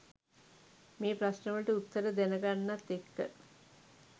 මේ ප්‍රශ්න වලට උත්තර දැනගන්නත් එක්ක